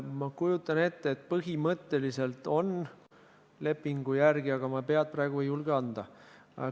Ma kujutan ette, et lepingu järgi põhimõtteliselt on, aga ma praegu ei julge pead anda.